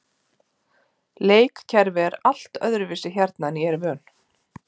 Leikkerfi er allt öðruvísi hérna en ég er vön.